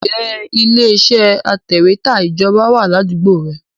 Ǹjẹ́ ilé iṣẹ́ atẹ̀wẹ́tà Ìjọba wà ládùúgbò rẹ?